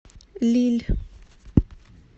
лилль